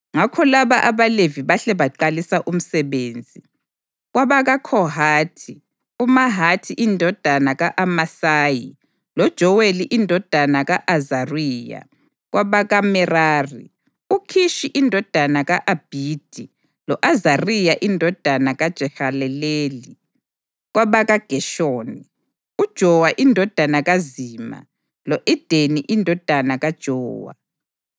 Ngakho laba abaLevi bahle baqalisa umsebenzi: KwabakaKhohathi, uMahathi indodana ka-Amasayi loJoweli indodana ka-Azariya; kwabakaMerari, uKhishi indodana ka-Abhidi lo-Azariya indodana kaJehaleleli; kwabakaGeshoni, uJowa indodana kaZima lo-Edeni indodana kaJowa;